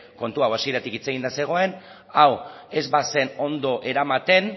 kontu hau hasieratik hitz eginda zegoen hau ez bazen ondo eramaten